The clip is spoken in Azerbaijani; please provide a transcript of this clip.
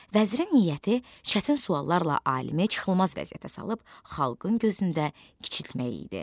Vəzirin niyyəti çətin suallarla alimi çıxılmaz vəziyyətə salıb xalqın gözündə kiçiltmək idi.